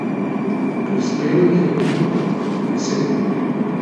Prispelo jih je veliko, deset.